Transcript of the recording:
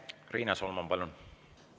Riina Solman, palun!